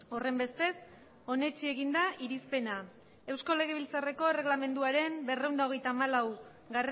horrenbestez onetsi egin da irizpena eusko legebiltzarreko erregelamenduaren berrehun eta hogeita hamalau